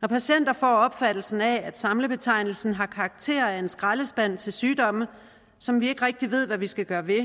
når patienter får opfattelsen af at samlebetegnelsen har karakter af en skraldespand til sygdomme som vi ikke rigtig ved hvad vi skal gøre ved